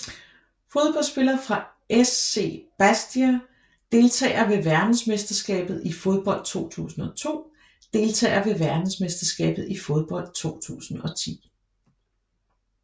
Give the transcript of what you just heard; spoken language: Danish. Fodboldspillere fra SC Bastia Deltagere ved verdensmesterskabet i fodbold 2002 Deltagere ved verdensmesterskabet i fodbold 2010